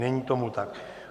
Není tomu tak.